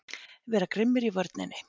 Vera grimmir í vörninni!